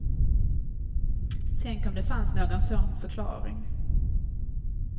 Tänk om det fanns någon sån förklaring.